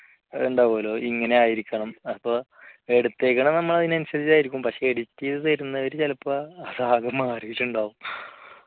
ഉണ്ടാവുമല്ലോ ഇങ്ങനെ ആയിരിക്കണം അപ്പോൾ എടുത്തേക്കണത് നമ്മൾ അത് അനുസരിച്ച് ആയിരിക്കും പക്ഷേ editing ചെയ്തു തരും ചിലപ്പോൾ അത് ആകെ മാറിയിട്ടുണ്ടാവും